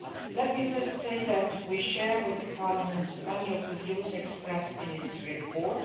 Let me first say that we share with Parliament many of the views expressed in its report.